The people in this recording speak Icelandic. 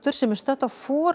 sem er stödd á